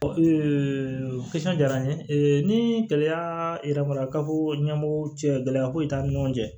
jara n ye ni gɛlɛya ka bɔ ɲɛmɔgɔ cɛ gɛlɛya ko ye t'an ni ɲɔgɔn cɛ